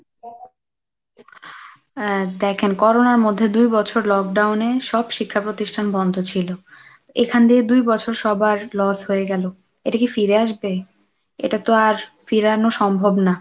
আহ দেখেন করোনার মধ্যে দুই বছর lock down এ সব শিক্ষা প্রতিষ্ঠান বন্ধ ছিল, এখান দিয়ে দুই বছর সবার loss হয়ে গেল এটা কি ফিরে আসবে? এটা তো আর ফেরানো সম্ভব না।